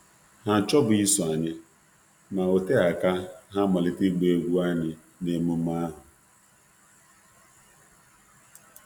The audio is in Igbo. Ha amaghị na ha ga esonye,